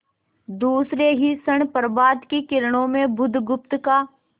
दूसरे ही क्षण प्रभात की किरणों में बुधगुप्त का